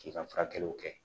K'i ka furakɛliw kɛ